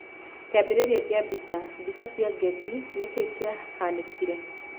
Kĩambĩrĩria kĩa mbica, Mbica cia Getty, nĩkĩ kiahanĩkire?